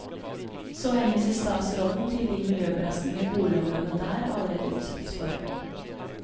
Så henviser statsråden til de miljøbelastninger boligområdene der allerede utsettes for.